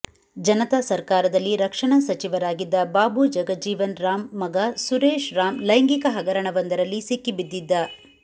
ಜನತಾ ಸರ್ಕಾರದಲ್ಲಿ ರಕ್ಷಣಾ ಸಚಿವರಾಗಿದ್ದ ಬಾಬು ಜಗಜೀವನ್ ರಾಂ ಮಗ ಸುರೇಶ್ ರಾಂ ಲೈಂಗಿಕ ಹಗರಣವೊಂದರಲ್ಲಿ ಸಿಕ್ಕಿಬಿದ್ದಿದ್ದ